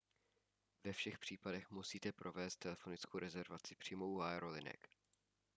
ve všech případech musíte provést telefonickou rezervaci přímo u aerolinek